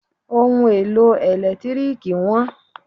Ohun èlò ẹ̀lẹ́tírìkì wọ́n.